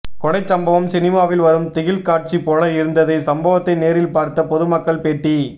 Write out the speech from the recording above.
கொலை சம்பவம் சினிமாவில் வரும் திகில் காட்சி போல இருந்தது சம்பவத்தை நேரில் பார்த்த பொதுமக்கள் பேட்டி